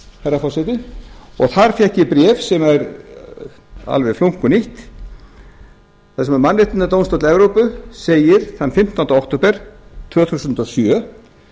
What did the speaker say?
herra forseti og þar fékk ég bréf sem er alveg flunkunýtt þar sem mannréttindadómstóll evrópu segir þann fimmtánda október tvö þúsund og sjö